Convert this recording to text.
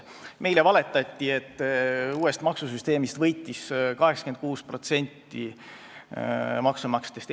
Meile valetati, et uuest maksusüsteemist võitis 86% maksumaksjatest.